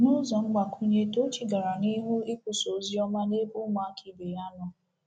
N’ụzọ mgbakwunye, Tochi gara n’ihu ikwusa ozi ọma n’ebe ụmụaka ibe ya nọ.